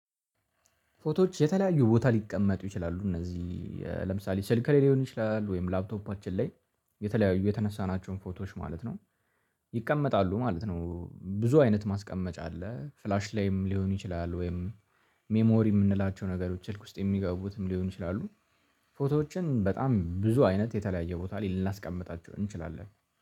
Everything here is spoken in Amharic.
ፎቶዎች የተለያዩ ቦታ ሊቀመጡ ይችላሉ። እነዚህ ለምሳሌ ስልክ ላይ ሊሆን ይችላል ወይም ላፕቶፓችን ላይ የተለያዩ የተነሳናቸውን ፎቶዎች ማለት ነው ይቀመጣሉ ማለት ነው። ብዙ አይነት ማስቀመጫ አለ ፍላሽ ላይም ሊሆን ይችላል። ወይም ሜሞሪ የምንላቸው ነገሮች ስልክ ውስጥ የሚገቡትም ሊሆን ይችላሉ። ፎቶዎችን በጣም ብዙ አይነት የተለያየ ቦታ ላይ ልናስቀምጣቸው እንችላለን